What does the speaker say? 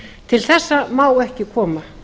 til þessa má ekki koma